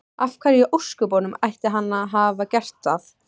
Af hverju í ósköpunum ætti hann að hafa gert það?